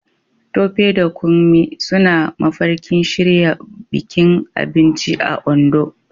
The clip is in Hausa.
Tope da Kunmi suna mafarkin shirya bikin abinci a Ondo